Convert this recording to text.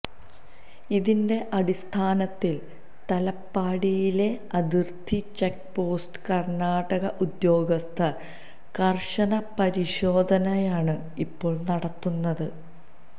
ഇതിന്റെ അടിസ്ഥാനത്തില് തലപ്പാടിയിലെ അതിര്ത്തി ചെക്ക്പോസ്റ്റില് കര്ണാടക ഉദ്യോഗസ്ഥര് കര്ശന പരിശോധനയാണ് ഇപ്പോള് നടത്തുന്നത്